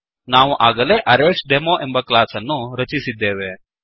ನಾವು ಆಗಲೇ ಅರೇಸ್ಡೆಮೊ ಎಂಬ ಕ್ಲಾಸ್ ಅನ್ನು ರಚಿಸಿದ್ದೇವೆ